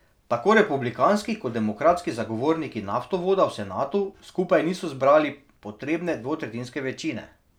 Tako republikanski kot demokratski zagovorniki naftovoda v senatu skupaj niso zbrali potrebne dvotretjinske večine.